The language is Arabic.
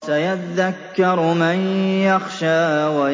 سَيَذَّكَّرُ مَن يَخْشَىٰ